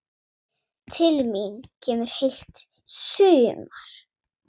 Til mín kemur heilt sumar.